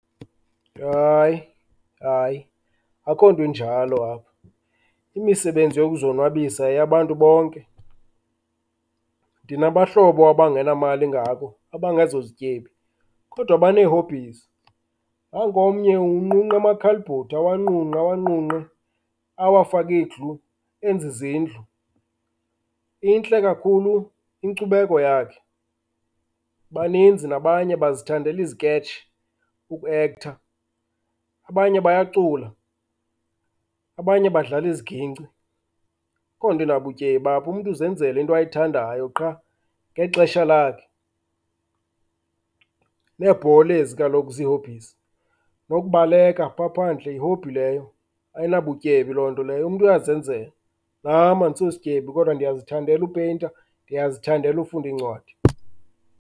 Hayi, hayi, akho nto enjalo apha. Imisebenzi yokuzonwabisa yeyabantu bonke. Ndinabahlobo abangenamali engakho, abangazozityebi kodwa bane-hobbies. Nanku omnye unqunqa amakhalibhodi awanqunqe, awanqunqe awafake iglu enze izindlu, intle kakhulu inkcubekho yakhe. Baninzi nabanye bazithandela iziketshi, ukuekhtha. Abanye bayacula, abanye badlala iziginci. Akho nto nabutyebi apho, umntu uzenzela into ayithandayo qha ngexesha lakhe. Neebhola ezi kaloku zi-hobbies, nokubaleka phaa phandle yi-hobby leyo, ayinabutyebi loo nto leyo, umntu uyazenzela. Nam andisosityebi kodwa ndiyazithandela upeyinta, ndiyazithandela ufunda iincwadi.